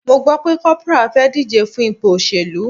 Mo gbo pe corporal fe dije fun ipo oselu